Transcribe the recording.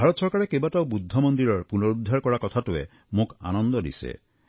ভাৰত চৰকাৰে কেইবাটাও বৌদ্ধ মন্দিৰৰ পুনৰুদ্ধাৰ কৰা কথাটোৱে মোক আনন্দ দিছে